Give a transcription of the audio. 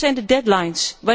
doen. Wat zijn de deadlines?